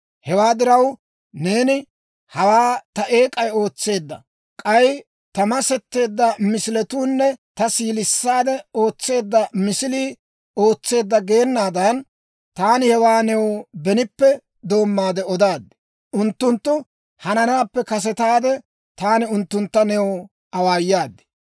Hewaa diraw, neeni, ‹Hawaa ta eek'ay ootseedda; k'ay ta masetteedda misiletuunne ta siilissiide ootseedda misilii ootseedda› geenaadan, taani hewaa new benippe doommaade odaad. K'ay unttunttu hananaappe kasetaade, taani unttuntta new awaayaad.